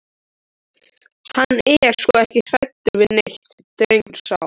Hann er sko ekki hræddur við neitt, drengurinn sá.